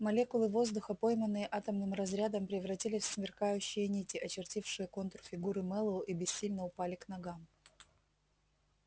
молекулы воздуха пойманные атомным разрядом превратились в сверкающие нити очертившие контур фигуры мэллоу и бессильно упали к ногам